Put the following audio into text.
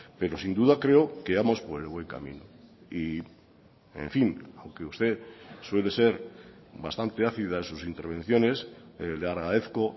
pero sin duda creo que vamos por el buen camino y en fin aunque usted suele ser bastante ácida en sus intervenciones le agradezco